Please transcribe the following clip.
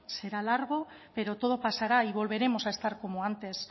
será largo pero todo pasará y volveremos a estar como antes